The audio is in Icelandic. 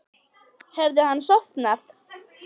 Hafði hann sofnað?